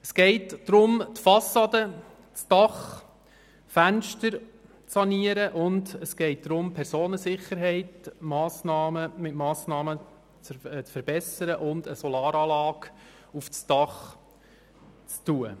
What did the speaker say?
Es geht darum, die Fassade, das Dach und die Fenster zu sanieren, die Personensicherheit mit Massnahmen zu verbessern und eine Solaranlage auf dem Dach zu montieren.